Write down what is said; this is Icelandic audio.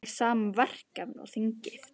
Fær sama verkefni og þingið